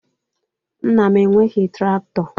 Nna m enweghị traktọ